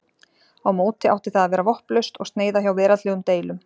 á móti átti það að vera vopnlaust og sneyða hjá veraldlegum deilum